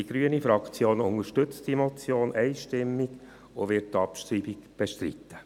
Die grüne Fraktion unterstützt diese Motion einstimmig und wird die Abschreibung bestreiten.